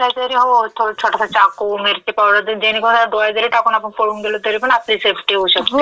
काय ना कायी तरी हवं, छोटासा चाक़ू, मिर्ची पावडर ज्याने कोणाला डोळ्यात जरी टाकुन आपण पळून गेलो तरीपण आपली सेफ्टी होऊ शकते.